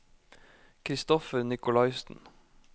Christoffer Nikolaisen